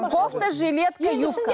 кофта жилетка юбка